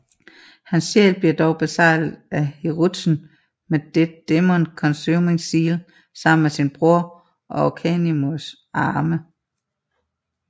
Hans sjæl bliver dog beseglet af Hiruzen med Dead Demon Cosuming Seal sammen med sin bror og Orochimarus arme